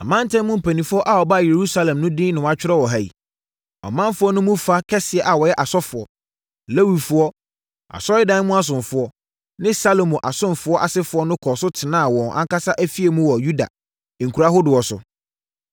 Amantam mu mpanimfoɔ a wɔbaa Yerusalem no din na wɔatwerɛ wɔ ha yi. Ɔmanfoɔ no mu fa kɛseɛ a wɔyɛ asɔfoɔ, Lewifoɔ, Asɔredan mu asomfoɔ ne Salomo asomfoɔ asefoɔ no kɔɔ so tenaa wɔn ankasa afie mu wɔ Yuda nkuro ahodoɔ so,